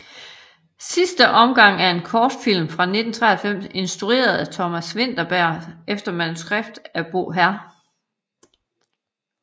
Sidste omgang er en kortfilm fra 1993 instrueret af Thomas Vinterberg efter manuskript af Bo hr